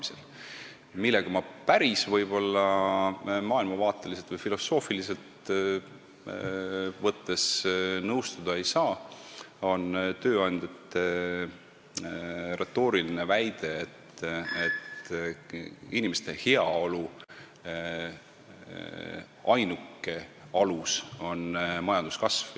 See, millega ma maailmavaateliselt või filosoofiliselt võttes päris nõustuda ei saa, on tööandjate retooriline väide, et inimeste heaolu ainuke alus on majanduskasv.